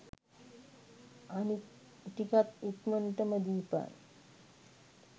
අනිත් ටිකත් ඉක්මනටම දීපන්.